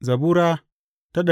Zabura Sura